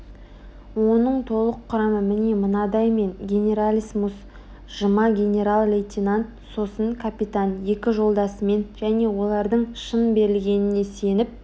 оның толық құрамы міне мынадай мен генералиссимус жұма генерал-лейтенант сосын капитан екі жолдасымен және олардың шын берілгеніне сеніп